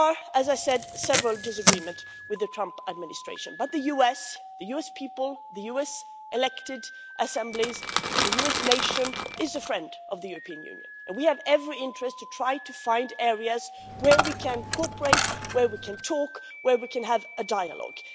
As I said, there are several disagreements with the Trump administration, but the US the US people, the US elected assemblies, the US nation is a friend of the European Union and we have every interest to try to find areas where we can cooperate, where we can talk, and where we can have a dialogue.